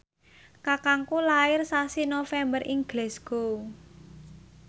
kakangku lair sasi November ing Glasgow